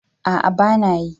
A'a bana yi